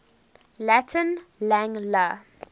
latin lang la